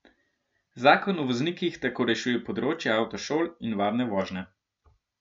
Zakon o voznikih tako rešuje področje avtošol in varne vožnje.